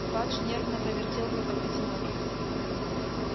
фадж нервно повертел в руках котелок